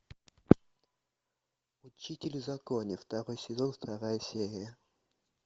учитель в законе второй сезон вторая серия